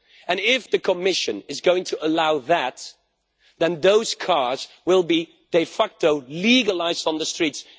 And if the Commission is going to allow that, then those cars will be de facto legalised on the streets.